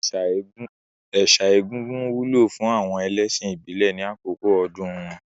Ẹ̀sà egúngún wúlò fún àwọn ẹlẹ́ṣìn ìbílẹ̀ ní àkókò ọdún wọn.